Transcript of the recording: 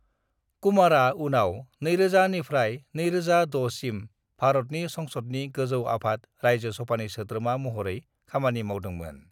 कुमारा उनाव 2000 निफ्राय 2006 सिम भारतनि संसदनि गोजौ आफाद रायजो सभानि सोद्रोमा महरै खामानि मावदोंमोन।